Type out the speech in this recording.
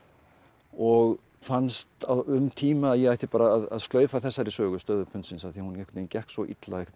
og fannst um tíma að ég ætti bara að slaufa þessari sögu stöðu pundsins af því hún gekk svo illa